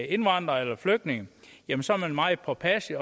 indvandrer eller flygtning jamen så er man meget påpasselig